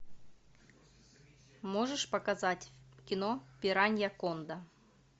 можешь показать кино пиранья конда